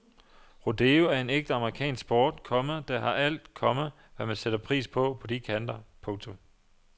Rodeo er en ægte amerikansk sport, komma der har alt, komma hvad man sætter pris på på de kanter. punktum